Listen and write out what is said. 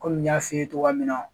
Kɔmi n y'a 'i ye togoya min na